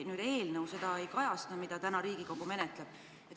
Ometi eelnõu, mida täna Riigikogu menetleb, seda ei kajasta.